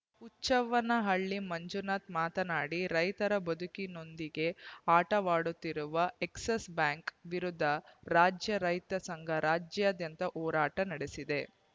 ಹುಚ್ಚವ್ವನಹಳ್ಳಿ ಮಂಜುನಾಥ ಮಾತನಾಡಿ ರೈತರ ಬದುಕಿನೊಂದಿಗೆ ಆಟವಾಡುತ್ತಿರುವ ಎಕ್ಸಿಸ್‌ ಬ್ಯಾಂಕ್‌ ವಿರುದ್ಧ ರಾಜ್ಯ ರೈತ ಸಂಘ ರಾಜ್ಯಾದ್ಯಂತ ಹೋರಾಟ ನಡೆಸಿದೆ